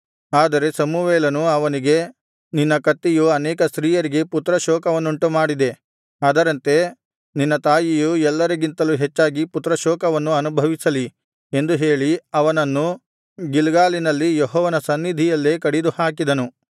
ಆದರೆ ಸಮುವೇಲನು ಅವನಿಗೆ ನಿನ್ನ ಕತ್ತಿಯು ಅನೇಕ ಸ್ತ್ರೀಯರಿಗೆ ಪುತ್ರಶೋಕವನ್ನುಂಟುಮಾಡಿದೆ ಅದರಂತೆ ನಿನ್ನ ತಾಯಿಯು ಎಲ್ಲರಿಗಿಂತಲೂ ಹೆಚ್ಚಾಗಿ ಪುತ್ರಶೋಕವನ್ನು ಅನುಭವಿಸಲಿ ಎಂದು ಹೇಳಿ ಅವನನ್ನು ಗಿಲ್ಗಾಲಿನಲ್ಲಿ ಯೆಹೋವನ ಸನ್ನಿಧಿಯಲ್ಲೇ ಕಡಿದುಹಾಕಿದನು